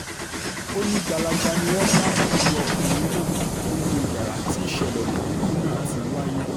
ó ní gbalaja ni wọ́n bá òkú ọkùnrin náà nínú yàrá tí ìṣẹ̀lẹ̀ búburú náà ti wáyé